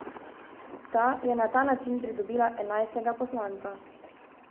Ta je na ta način pridobila enajstega poslanca.